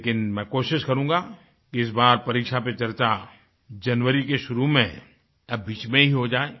लेकिनमैं कोशिश करुगां इस बार परीक्षा पर चर्चा जनवरी की शुरू में या बीच में हो जाए